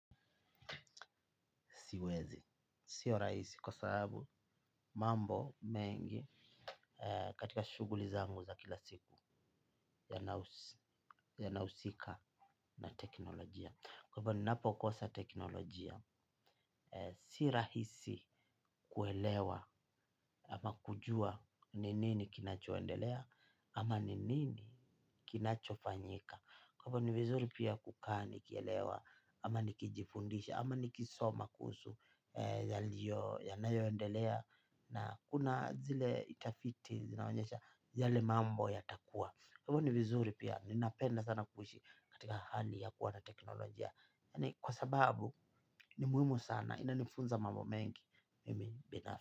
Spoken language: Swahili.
Siwezi. Sio rahisi kwa sababu mambo mengi katika shughuli zangu za kila siku yana husika na teknolojia. Kwa hivyo ninapo kosa teknolojia. Si rahisi kuelewa ama kujua ni nini kinachoendelea ama ni nini kinachofanyika. Kwa hivyo ni vizuri pia kukaa nikielewa ama nikijifundisha ama nikisoma kuhusu yaliyo yanayo endelea na kuna zile tafiti zinaonyesha yale mambo yatakua kwa hivyo ni vizuri pia ninapenda sana kuishi katika hali ya kuwa na teknolojia ni kwa sababu ni muhimu sana ina nifunza mambo mengi mimi bina.